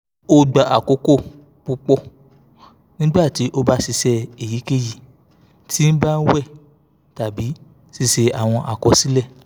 o gba akoko pupọ nigbati o ba ṣiṣe eyikeyi ti ban wẹ tabi ṣiṣe awọn akọsilẹ